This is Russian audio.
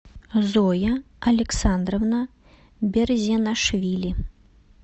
зоя александровна берзенашвили